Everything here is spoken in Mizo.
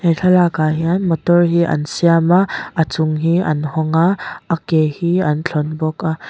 thlalakah hian motor hi an siam a a chung hi an hawng a a ke hi an thlawn bawk a.